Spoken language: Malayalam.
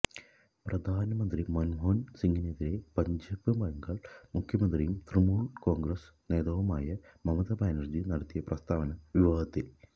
പ്രധാനമന്ത്രി മന്മോഹന് സിംഗിനെതിരെ പശ്ചിമബംഗാള് മുഖ്യമന്ത്രിയും തൃണമൂല് കോണ്ഗ്രസ് നേതാവുമായ മമത ബാനര്ജി നടത്തിയ പ്രസ്താവന വിവാദത്തില്